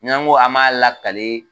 N'an go a m'a lakale